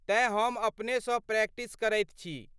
तेँ हम अपनेसँ प्रैक्टिस करैत छी।